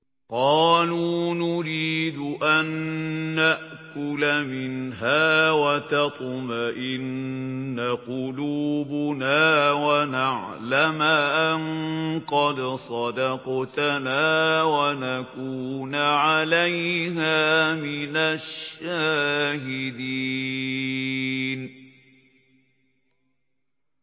قَالُوا نُرِيدُ أَن نَّأْكُلَ مِنْهَا وَتَطْمَئِنَّ قُلُوبُنَا وَنَعْلَمَ أَن قَدْ صَدَقْتَنَا وَنَكُونَ عَلَيْهَا مِنَ الشَّاهِدِينَ